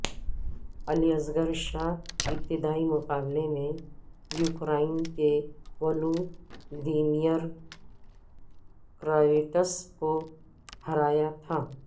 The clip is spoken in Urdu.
اصغر علی شاہ ابتدائی مقابلے میں یوکرائن کے ولودیمیر کراویٹس کو ہرایا تھا